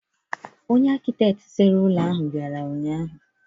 Onye akịtekị sere ụlọ ahụ bịara ụnyaahụ.